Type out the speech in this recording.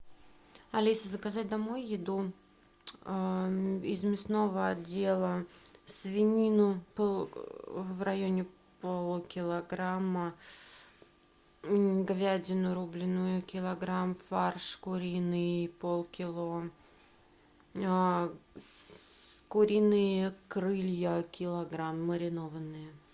алиса заказать домой еду из мясного отдела свинину в районе полукилограмма говядину рубленую килограмм фарш куриный полкило куриные крылья килограмм маринованные